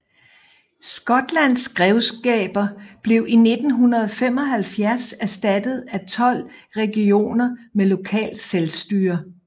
Skotlands grevskaber blev i 1975 erstattet af 12 regioner med lokalt selvstyre